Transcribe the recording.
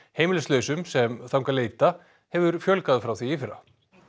heimilislausum sem þangað leita hefur fjölgað frá því í fyrra